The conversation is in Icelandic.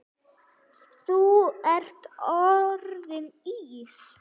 Þú ert orðinn Ís